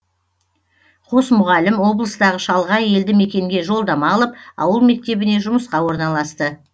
қос мұғалім облыстағы шалғай елді мекенге жолдама алып ауыл мектебіне жұмысқа орналасты